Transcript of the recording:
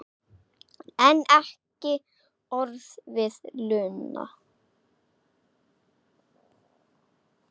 En ekki orð við Lenu.